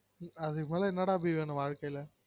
அதுக்கு மேல என்னடா அபி வேணும் வாழ்க்கைல